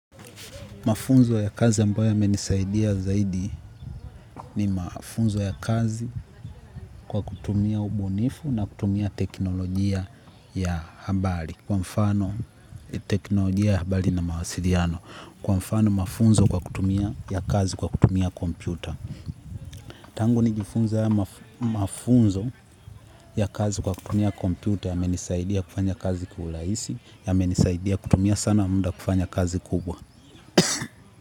Mafunzo ya kazi ambayo yamenisaidia zaidi ni mafunzo ya kazi kwa kutumia ubunifu na kutumia teknolojia ya habari. Kwa mfano teknolojia ya habari na mawasiliano. Kwa mfano mafunzo kwa kutumia ya kazi kwa kutumia kompyuta. Tangu nijifunze haya mafunzo ya kazi kwa kutumia kompyuta yamenisaidia kufanya kazi kiulaisi, yamenisaidia kutumia sana munda kufanya kazi kubwa.